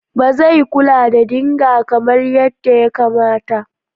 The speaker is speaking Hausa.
Ba zai kula da dinger kamar yadda ya kamata.